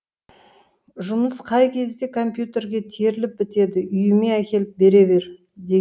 жұмыс қай кезде компьютерге теріліп бітеді үйіме әкеліп бере бер де